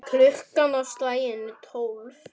Klukkan á slaginu tólf.